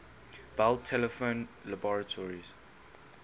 bell telephone laboratories